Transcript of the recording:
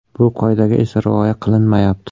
Bu qoidaga esa rioya qilinmayapti.